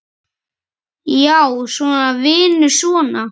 Já, svona, vinur, svona!